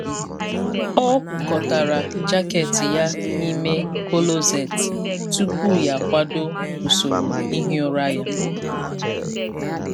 Ọ kwụkọtara jaket ya n’ime kọlọset tupu ya akwado usoro ihi ụra ya.